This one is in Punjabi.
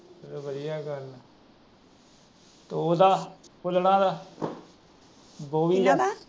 ਤੇ ਉਹਦਾ ਫੁੱਲਣਾ ਦਾ